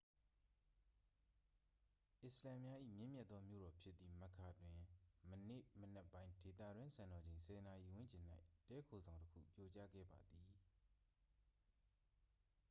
အစ္စလာမ်များ၏ မြင့်မြတ်သောမြို့တော်ဖြစ်သည့် မက္ကာ တွင် ယနေ့မနက်ပိုင်း ဒေသတွင်းစံတော်ချိန် 10 နာရီဝန်းကျင်၌ တည်းခိုဆောင်တစ်ခု ပြိုကျခဲ့ပါသည်